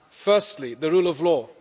Firstly, the rule of law.